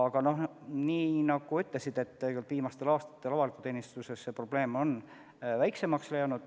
Aga nagu sa ütlesid, viimastel aastatel on avalikus teenistuses see probleem väiksemaks läinud.